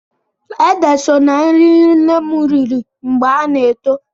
Ede so ná nri nne m riri mgbe ha na-eto eto.